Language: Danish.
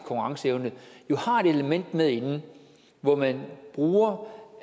konkurrenceevne har et element med inde hvor man bruger